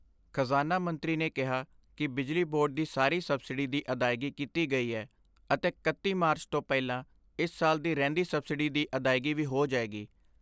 ਖਜ਼ਾਨਾ ਮੰਤਰੀ ਨੇ ਕਿਹਾ ਕਿ ਬਿਜਲੀ ਬੋਰਡ ਦੀ ਸਾਰੀ ਸਬਸਿਡੀ ਦੀ ਅਦਾਇਗੀ ਕੀਤੀ ਗਈ ਐ ਅਤੇ ਇਕੱਤੀ ਮਾਰਚ ਤੋਂ ਪਹਿਲਾਂ ਇਸ ਸਾਲ ਦੀ ਰਹਿੰਦੀ ਸਬਸਿਡੀ ਦੀ ਅਦਾਇਗੀ ਵੀ ਹੋ ਜਾਏਗੀ।